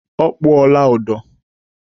Ọ kpụọla ụdọ?